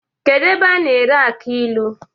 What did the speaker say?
Kedu ebe a na-ere aki ilu?